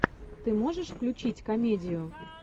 ты можешь включить комедию